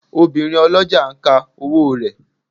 Obìnrin ọlọ́jà ń ka owó rẹ̀.